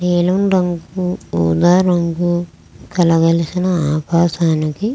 నీలం రంగు ఉదా రంగు కలగలిసిన ఆకాశానికి--